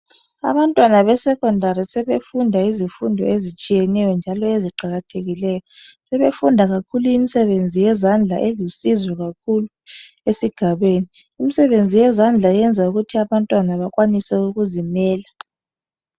Abantwana be secondary sebefunda izifundo ezitshiyeneyo njalo eziqakathekileyo, sebefunda kakhulu imisebenzi yezandla elusizo kakhulu esigabeni, imisebenzi yezandla yenza ukuthi abantwana bakwanise ukuzimela.